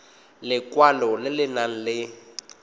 lekwalo le le nang le